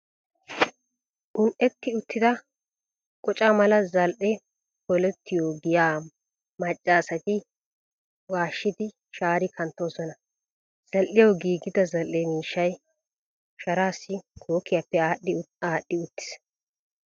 Un"etti uttida qoca mala zal"ee polettiyo giyaa macca asati washidi shaari kanttoosona. Zal"iyawu giigida zal"ee miishshay sharaassi kookkiyappe aadhdhi aadhdhi uttiis.